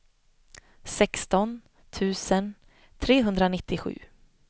sexton tusen trehundranittiosju